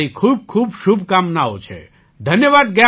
તો મારી ખૂબ ખૂબ શુભકામનાઓ છે ધન્યવાદ